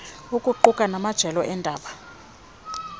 ukuquka namajelo endalo